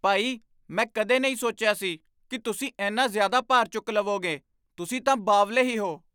ਭਾਈ! ਮੈਂ ਕਦੇ ਨਹੀਂ ਸੋਚਿਆ ਸੀ ਕਿ ਤੁਸੀਂ ਇੰਨਾ ਜ਼ਿਆਦਾ ਭਾਰ ਚੁੱਕ ਲਵੋਂਗੇ, ਤੁਸੀਂ ਤਾਂ ਬਾਵਲੇ ਹੀ ਹੋ!!